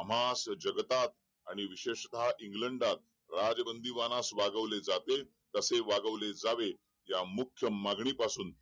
आम्हास जगतात आणि विशेषता इंग्लडात राज्य बांदिवनास वागवले जाते तसेच वागवले जावे या मुख्य मागणी पासून